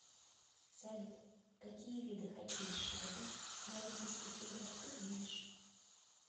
салют какие виды хоккей с шайбой на олимпийских играх ты знаешь